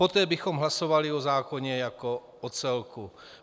Poté bychom hlasovali o zákoně jako o celku.